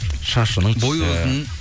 шашының түсі бойы ұзын